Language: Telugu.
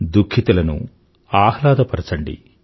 దుఖితులను ఆహ్లాదపరచండి